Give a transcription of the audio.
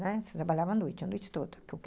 trabalhava à noite, à noite toda.